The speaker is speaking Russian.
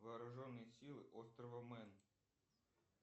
вооруженные силы острова мэн